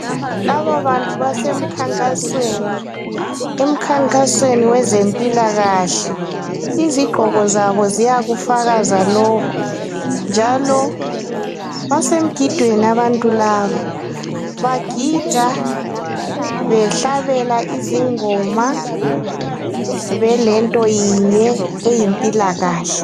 Laba bantu basemkhankasweni emkhankasweni wezempila kahle izigqoko zabo ziyakufakaza lokhu njalo basemgidweni abantu laba njalo bagida behlabela izingoma belontoyinye eyimpila kahle.